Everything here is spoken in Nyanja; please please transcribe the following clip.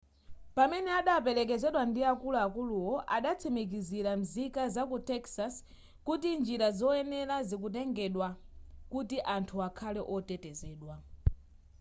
pamene adaperekezedwa ndi akuluakuluwo adatsimikizira nzika zaku texas kuti njira zoyenera zikutengedwa kuti anthu akhale otetezedwa